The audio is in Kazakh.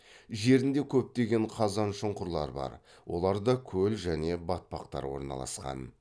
жерінде көптеген қазаншұңқырлар бар оларда көл және батпақтар орналасқан